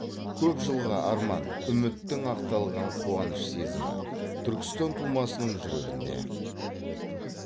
көп жылғы арман үміттің ақталған қуаныш сезімі түркістан тумасының жүрегінде